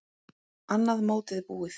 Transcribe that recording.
Annað mótið búið!